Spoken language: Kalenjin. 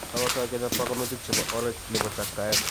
Kakoto Kenya panganutik chebo oret nebo chaktaet.